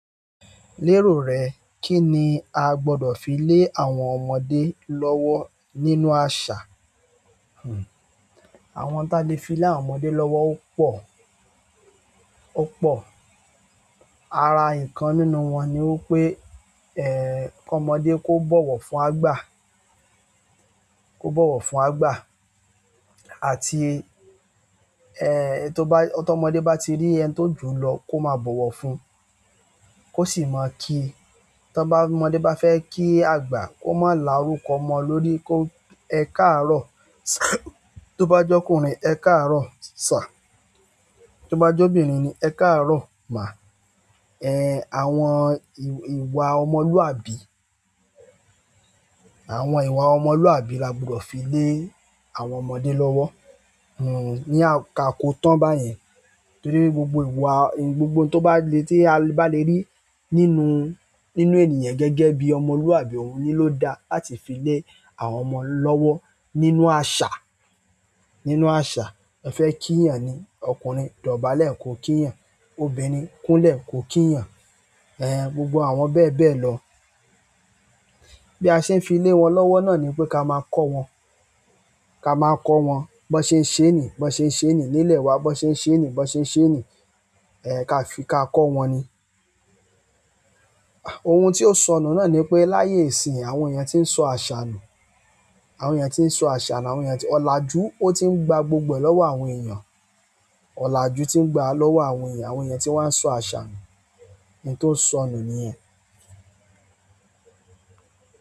Lérò rẹ, kí ni a gbọdọ̀ fi lé àwọn ọmọdé lọ́wọ́ nínú àṣà? Àwọn ohun táa le fi lé àwọn ọmọdé lọ́wọ́ ó pọ̀, ó pọ̀. Ara ìkan nínú wọn ni wípé, kọ́mọdé kó bọ̀wọ̀ fún àgbà, kó bọ̀wọ̀ fún àgbà àti, ẹ́, tó bá, tó ọmọdé bá ti rí ẹni tó jù lọ kó máa bọ̀wọ̀ fún, kó sì máa kíi, tó bá ọmọdé bá fẹ́ kí àgbà kó má lárú kọ ọmọ lórí kó, ẹ káàárọ̀ tó bá jọkùnrin, ẹ káàárọ̀ sà, tó bá jọ́bìnrin ni ẹ káàárọ̀ mà. Àwọn ìwà ọmọlúwàbí, àwọn ìwà ọmọlúwàbí la gbudọ̀ fi lé àwọn ọmọdé lọ́wọ́. Hmmm, ní àkókò tán báyẹn torí gbogbo ìwà, gbogbo ohun tó bá le tí a bá le rí nínú, nínú ènìyàn gẹ́gẹ́ bí ọmọlúwàbí òun ni ló da láti fi lé àwọn ọmọ lọ́wọ́ nínú àṣà, nínú àṣà. Ẹ fẹ́ kíyàn ni ọkùnrin, dọ̀bálẹ̀ kó kíyàn, obìnrin kúnlẹ̀ kó kíyàn. Ẹ̀h, gbogbo àwọn bẹ́ẹ̀ bẹ́ẹ̀ lọ. Bí a ṣe ń fi lé wọn lọ́wọ́ náà ni pé ká máa kọ́ wọn, ká máa kọ́ wọn. Bọ́sẹ́ ń ṣéènì, Bọ́sẹ́ ń ṣéènì nílẹ̀ wa, Bọ́sẹ́ ń ṣéènì, Bọ́sẹ́ ń ṣéènì, ẹ́, ká fi ká kọ́ wọn ni. Ohun tí ó sọnù náà ni pé láyé ìsìnyìí àwọn èèyàn tí ń sọ àṣà nù. Àwọn èèyàn tí ń sọ àṣà nù, àwọn èèyàn tí-- ọ̀làjú, ó ti ń gba gbogbo ẹ̀ lọ́wọ́ àwọn èèyàn. Ọ̀làjú tí ń gbàá lọ́wọ́ àwọn èèyàn, àwọn èèyàn tí wọ́n á ń sọ àṣà nù, n tó sọnù nìyẹn.